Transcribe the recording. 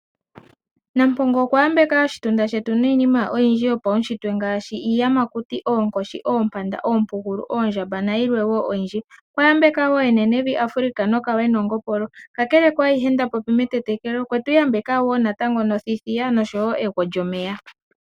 Nampongo okwa yambeka oshitunda shetu niinima oyindji yopaushitwe ngaashi iiyamakuti oonkoshi, oompanda, oompugulu, oondjamba nayilwe wo oyindji. Okwa yambeka wo enenevi Africa nokawe noongopolo, kakele ku ayihe nda popi metetekelo okwetu yambeka wo nothithiya nosho wo egwo lyomeya.